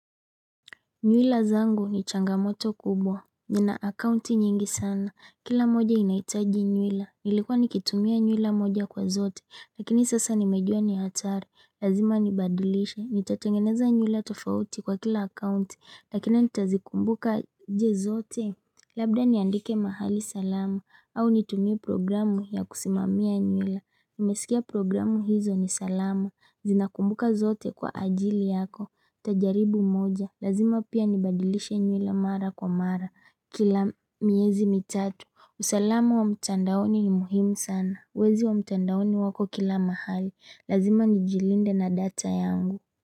Nywila zangu ni changamoto kubwa. Nina akaunti nyingi sana, kila moja inahitaji nywila, nilikuwa nikitumia nywila moja kwa zote, lakini sasa nimejua ni hatari. Lazima nibadilishe, nitatengeneza nywila tofauti kwa kila akaunti, lakini nitazikumbuka aje zote? Labda niandike mahali salama, au nitumie programu ya kusimamia nywila. Nimesikia programu hizo ni salama, zinakumbuka zote kwa ajili yako. Nitajaribu moja, lazima pia nibadilishe nywila mara kwa mara. Kila miezi mitatu. Usalama wa mtandaoni ni muhimu sana. Wezi wa mtandaoni wako kila mahali. Lazima nijilinde na data yangu.